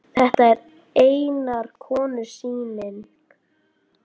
Þetta er einnar konu sýning.